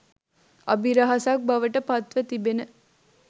අභිරහසක් බවට පත්ව තිබෙන